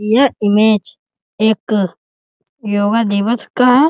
यह इमेज एक योग दिवस का है।